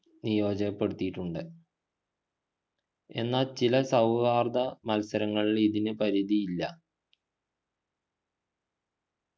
നിയോജപ്പെടുത്തീട്ടുണ്ട് എന്നാൽ ചില സൗഹാർദ്ദ മത്സരങ്ങളിൽ ഇതിനു പരിധിയില്ല